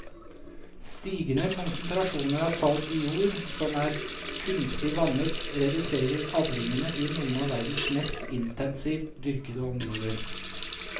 Stigende konsentrasjoner av salt i jord som er kunstig vannet reduserer avlingene i noen av verdens mest intensivt dyrkede områder.